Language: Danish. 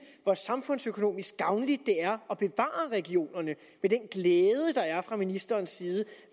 hvor samfundsøkonomisk gavnligt det er at bevare regionerne med den glæde der er fra ministerens side